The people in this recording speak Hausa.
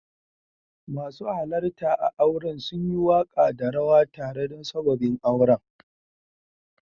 Masu halarta a'auren sun yi waka da rawa tare da sabobin auren.